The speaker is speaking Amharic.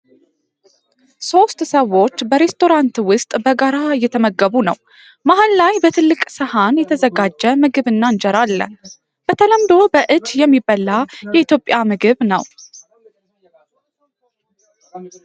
ሦስት ሰዎች በሬስቶራንት ውስጥ በጋራ እየተመገቡ ነው። መሃል ላይ በትልቅ ሰሃን የተዘጋጀ ምግብና እንጀራ አለ። በተለምዶ በእጅ የሚበላ የኢትዮጵያ ምግብ ነው።